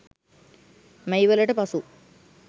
මැයිවලට පසු